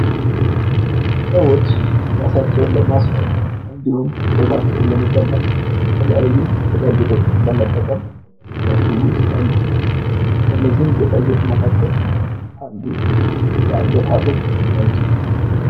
ሰወች እራሳቸውን ለማስዋብ እንዲሁም ዉበታቸውን ለመጨመር የተለያዩ ጌጣጌጦችን በመጠቀም ሊያስዉቡ ይችላሉ። ከነዚህም ጌጣጌጥ መካከል አንዱ የአንገት ሃብል ሊሆን ይችላል።